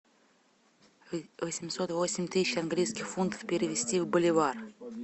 восемьсот восемь тысяч английских фунтов перевести в боливар